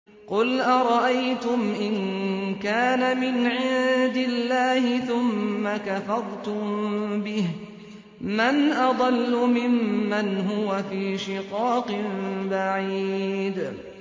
قُلْ أَرَأَيْتُمْ إِن كَانَ مِنْ عِندِ اللَّهِ ثُمَّ كَفَرْتُم بِهِ مَنْ أَضَلُّ مِمَّنْ هُوَ فِي شِقَاقٍ بَعِيدٍ